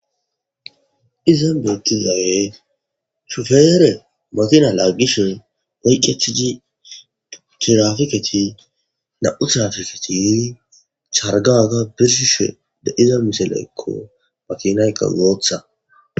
Iza beettizawe shufeere matina laaggishen woyqqethii girafiketi na7u tirafiketi chargaga birshishe de iza miselaykko makinayka gootha.